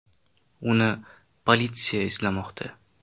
Uni politsiya izlamoqda.